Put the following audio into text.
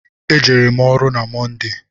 E jere m ọrụ na Mọnde.